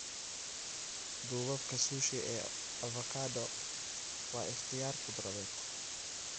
Duubabka sushi ee avocado waa ikhtiyaar khudradeed.